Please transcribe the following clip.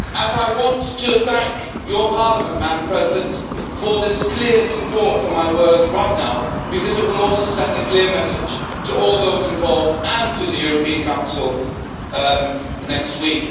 I want to thank your Parliament, Madam President, for its clear support for my words right now because it will also send a clear message to all those involved and to the European Council next week.